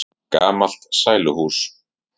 Gamalt sæluhús.